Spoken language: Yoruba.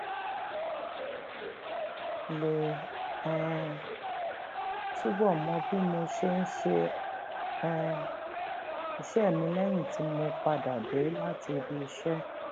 lè um túbò mọ bí mo ṣe ń ṣe um iṣé mi léyìn tí mo padà dé láti ibi iṣé